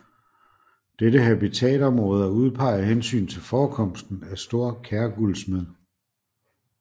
Dette habitatområde er udpeget af hensyn til forekomsten af stor kærguldsmed